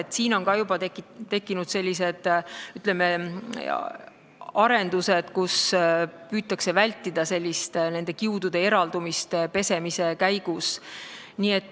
Ka siin on juba tekkinud sellised, ütleme, arendused, et püütakse vältida nende kiudude eraldumist pesemise käigus.